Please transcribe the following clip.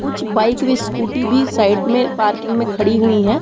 कुछ बाइक भी स्कूटी भी साइड में पार्किंग में खड़ी हुई हैं।